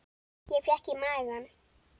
Ég fékk í magann.